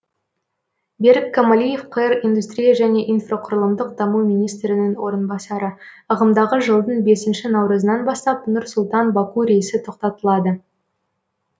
берік камалиев қр индустрия және инфрақұрылымдық даму министрінің орынбасары ағымдағы жылдың бесінші наурызынан бастап нұр сұлтан баку рейсі тоқтатылады